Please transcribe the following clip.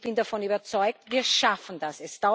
Und ich bin davon überzeugt Wir schaffen das.